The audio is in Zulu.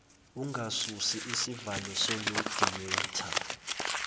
ungasusi isivalo solediyetha